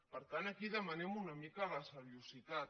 per tant aquí demanem una mica de seriositat